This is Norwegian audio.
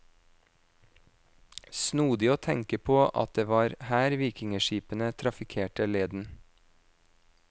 Snodig å tenke på at det var her vikingeskipene trafikkerte leden.